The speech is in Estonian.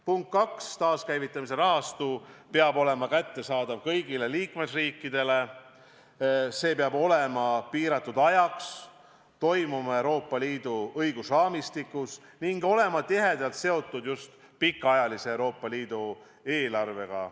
Punkt 2: taaskäivitamise rahastu peab olema kättesaadav kõigile liikmesriikidele, see peab olema ette nähtud piiratud ajaks, toimima Euroopa Liidu õigusraamistikus ning olema tihedalt seotud just Euroopa Liidu pikaajalise eelarvega.